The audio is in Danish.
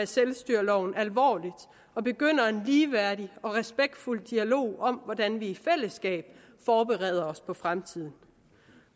selvstyreloven alvorligt og begynder en ligeværdig og respektfuld dialog om hvordan vi i fællesskab forbereder os på fremtiden